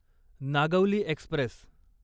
Nagavali Express